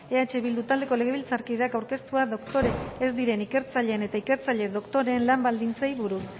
eh bildu taldeko legebiltzarkideak aurkeztua doktore ez diren ikertzaileen eta ikertzaile doktore lan baldintzei buruz